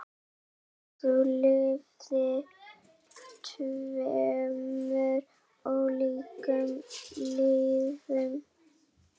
Þú lifðir tveimur ólíkum lífum.